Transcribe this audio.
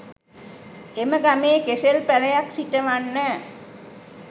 එම ගමේ කෙසෙල් පැලයක් සිටවන්න